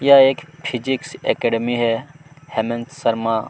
यह एक physics academy है हैमंत शर्मा--